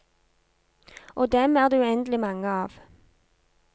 Og dem er det uendelig mange av.